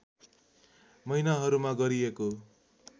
महिनाहरूमा गरिएको